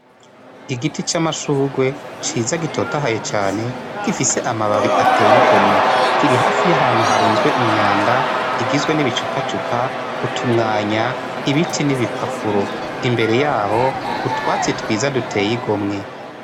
Igiti c'amashurwe ciza gitotahaye cane gifise amababi ateyigomwe kiri hafi y'ahantu harunzwe inyanda igizwe n'ibicupa cupa utumwanya ibiti n'ibipapuro imbere yaho utwatsi twiza duteyigomwe.